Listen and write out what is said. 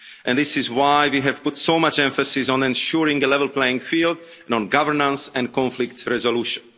This is why we have put so much emphasis on ensuring a level playing field and on governance and conflict resolution.